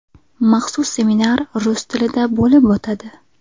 Maxsus seminar rus tilida bo‘lib o‘tadi.